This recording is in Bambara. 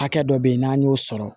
Hakɛ dɔ bɛ yen n'an y'o sɔrɔ